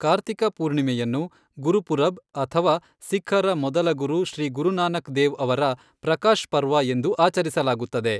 ಕಾರ್ತಿಕ ಪೂರ್ಣಿಮೆಯನ್ನು, ಗುರುಪುರಬ್ ಅಥವಾ ಸಿಖ್ಖರ ಮೊದಲ ಗುರು ಶ್ರೀ ಗುರುನಾನಕ್ ದೇವ್ ಅವರ ಪ್ರಕಾಶ್ ಪರ್ವ ಎಂದು ಆಚರಿಸಲಾಗುತ್ತದೆ.